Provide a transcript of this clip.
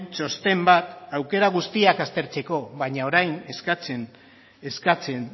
txosten bat aukera guztiak aztertzeko baina orain eskatzen